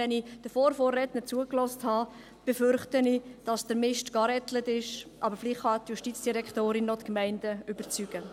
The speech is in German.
Wenn ich aber den Vorvorrednern zugehört habe, befürchte ich, dass der Mist geführt ist, aber vielleicht kann die Justizdirektorin die Gemeinden noch überzeugen.